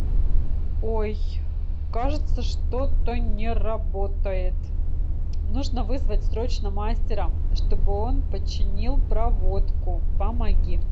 ой кажется что то не работает нужно вызвать срочно мастера чтобы он починил проводку помоги